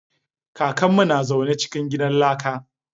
Kakan mu na zaune cikin gidan laka